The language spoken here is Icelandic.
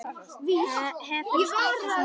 Hefurðu stækkað svona mikið, Gerður?